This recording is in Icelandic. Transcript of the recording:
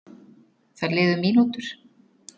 Það liðu mínútur.